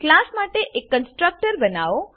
class માટે એક constructor બનાવો